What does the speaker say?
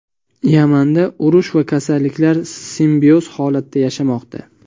Yamanda urush va kasalliklar simbioz holatda yashamoqda.